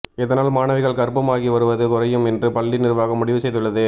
இதனால் மாணவிகள் கர்ப்பமாகி வருவது குறையும் என்று பள்ளி நிர்வாகம் முடிவு செய்துள்ளது